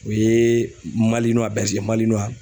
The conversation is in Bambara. O yee malinuwa bɛze ye malinuwa